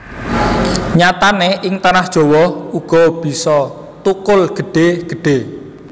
Nyatane ing tanah Jawa uga bisa thukul gedhe gedhe